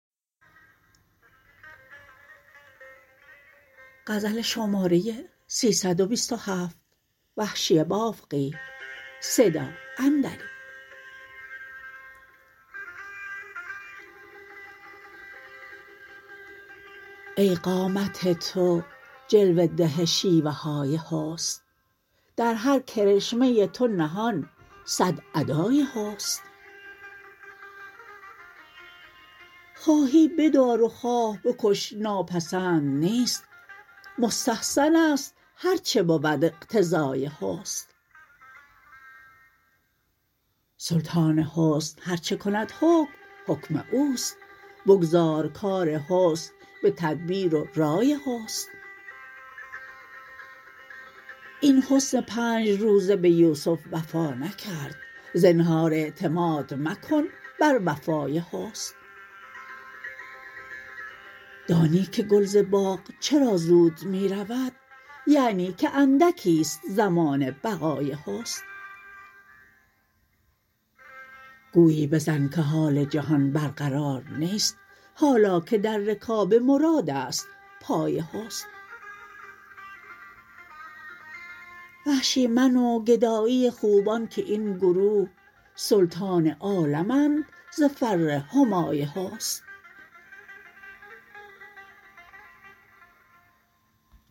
ای قامت تو جلوه ده شیوه های حسن در هر کرشمه تو نهان سد ادای حسن خواهی بدار و خواه بکش ناپسند نیست مستحسن است هر چه بود اقتضای حسن سلطان حسن هر چه کند حکم حکم اوست بگذار کار حسن به تدبیر و رای حسن این حسن پنج روز به یوسف وفا نکرد زنهار اعتماد مکن بر وفای حسن دانی که گل ز باغ چرا زود می رود یعنی که اندکیست زمان بقای حسن گویی بزن که حال جهان برقرار نیست حالا که در رکاب مراد است پای حسن وحشی من و گدایی خوبان که این گروه سلطان عالمند ز فر همای حسن